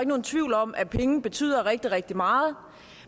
nogen tvivl om at penge betyder rigtig rigtig meget